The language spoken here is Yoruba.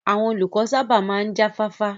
Àwọn olùkọ́ sábà máa ń jáfáfá